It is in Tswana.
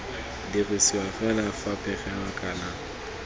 dirisiwa fela fa pegelo kana